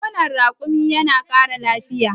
nonon rakumi yana Kara lafiya